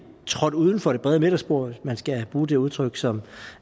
trådt uden for det brede midterspor hvis man skal bruge det udtryk som